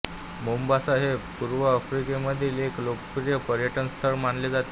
Mombasa हे पूर्व आफ्रिकेमधील एक लोकप्रिय पर्यटनस्थळ मानले जाते